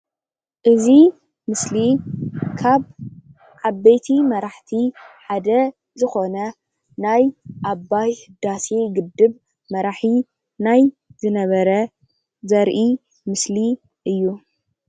እዚ ምስሊ ካብ ዓበይቲይ መራሕቲይ ሓደ ዝኮነ ናይ ኣባይ ህዳሴ ግድብ መራሕይ ናይ ዝነበር ዘርእይ ምስሊ እዩ።